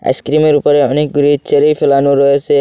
আইসক্রিমের ওপরে অনেকগুলি চেরি ফেলানো রয়েসে।